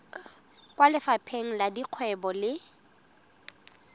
kwa lefapheng la dikgwebo le